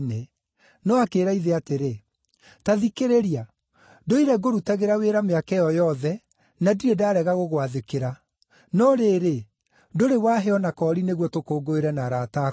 No akĩĩra ithe atĩrĩ, ‘Ta thikĩrĩria! Ndũire ngũrutagĩra wĩra mĩaka ĩyo yothe, na ndirĩ ndarega gũgwathĩkĩra. No rĩrĩ, ndũrĩ waahe o na koori nĩguo tũkũngũĩre na arata akwa.